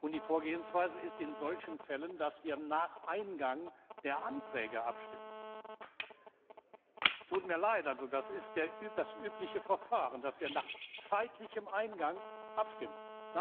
Und die Vorgehensweise ist in solchen Fällen, dass wir nach Eingang der Anträge abstimmen. Es tut mir leid, es ist das übliche Verfahren, dass wir nach zeitlichem Eingang abstimmen.